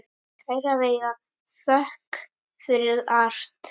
Kæra Veiga, þökk fyrir allt.